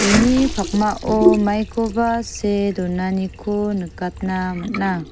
uni pakmao maikoba see donaniko nikatna man·a.